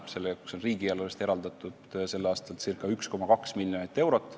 Selle jaoks on riigieelarvest eraldatud tänavu ca 1,2 miljonit eurot.